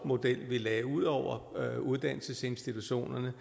model vi lagde ud over uddannelsesinstitutionerne